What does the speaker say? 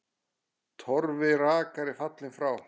Torfi rakari er fallinn frá.